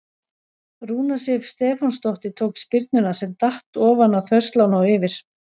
Rúna Sif Stefánsdóttir tók spyrnuna sem datt ofan á þverslánna og yfir.